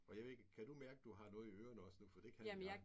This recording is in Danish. Og jeg ved ikke kan du mærke du har noget i ørene også nu? For det kan jeg